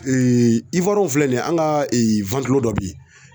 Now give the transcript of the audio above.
w filɛ nin ye an' ŋa dɔ be ye